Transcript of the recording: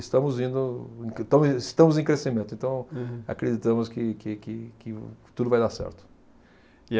Estamos indo, então estamos em crescimento, então acreditamos que, que, que, que tudo vai dar certo. E